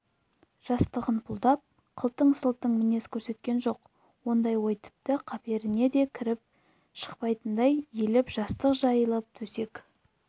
жастығын пұлдап қылтың-сылтың мінез көрсеткен жоқ ондай ой тіпті қаперіне кіріп те шықпайтындай иіліп жастық жайылып төсек